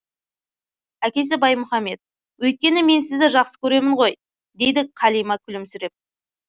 әкесі баймұхамед өйткені мен сізді жақсы көремін ғой дейді қалима күлімсіреп